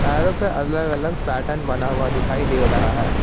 टायरों पर अलग अलग पैटर्न बना दिखाई दे रहा है।